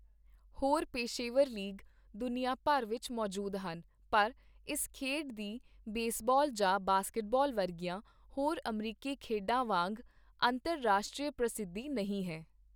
ਹੋਰ ਪੇਸ਼ੇਵਰ ਲੀਗ ਦੁਨੀਆ ਭਰ ਵਿੱਚ ਮੌਜੂਦ ਹਨ, ਪਰ ਇਸ ਖੇਡ ਦੀ ਬੇਸਬਾਲ ਜਾਂ ਬਾਸਕਟਬਾਲ ਵਰਗੀਆਂ ਹੋਰ ਅਮਰੀਕੀ ਖੇਡਾਂ ਵਾਂਗ ਅੰਤਰਰਾਸ਼ਟਰੀ ਪ੍ਰਸਿੱਧੀ ਨਹੀਂ ਹੈ।